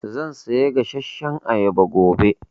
Zan saya gasashshan ayaba gobe.